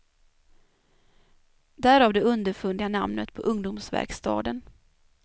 Därav det underfundiga namnet på ungdomsverkstaden.